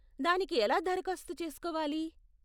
దానికి ఎలా దరఖాస్తు చేసుకోవాలి?